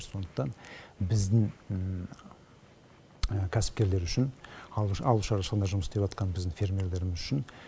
сондықтан біздің кәсіпкерлер үшін ауыл шаруашылығында жұмыс істеватқан біздің фермерлеріміз үшін